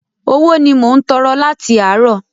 Owó ni mò ń tọrọ láti àárọ̀.